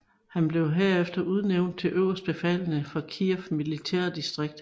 Herefter blev han udnævnt til øverstbefalende for Kiev Militært distrikt